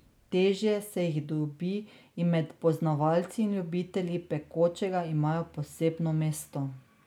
Težje se jih dobi in med poznavalci in ljubitelji pekočega imajo posebno mesto.